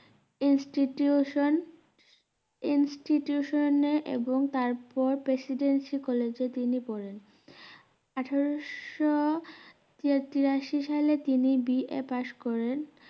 institutioninstitution এ এবং তারপর প্রেসিডেন্সি কলেজে তিনি পড়েন আঠারো তি~তিরাশি সালে তিনি বিয়ে পাস করেন